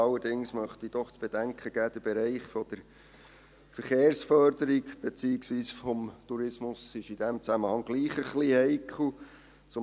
Allerdings möchte ich doch zu bedenken geben, dass der Bereich der Verkehrsförderung beziehungsweise des Tourismus in diesem Zusammenhang trotzdem etwas heikel ist.